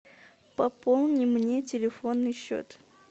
пополни мне телефонный счет